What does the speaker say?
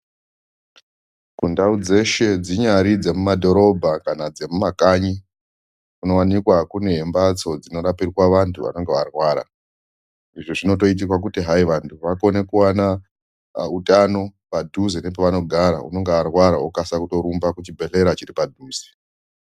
Kundau dzeshe dzinyari dzemumadhorobha kana dzemumakanyi kunowanikwa kune mbatso dzinorapirwa vantu vanenge varwara. Izvi zvinotoitirwa kuti hai vantu vakone kuwana utano padhuze nepavanogara. Unonga arwara okasika kutorumba kuchibhedhlera chiri padhuze.